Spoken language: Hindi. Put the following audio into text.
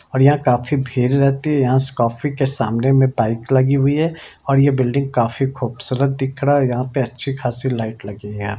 और यहां काफी भीड़ रहती है यहां से कॉफी के सामने में बाइक लगी हुई है और ये बिल्डिंग काफी खूबसूरत दिख रहा है यहां पे अच्छी खासी लाइट लगी है।